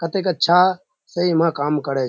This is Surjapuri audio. कतेक अच्छा से इमा काम कोरछे।